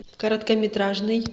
короткометражный